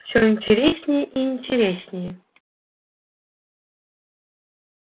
всё интереснее и интереснее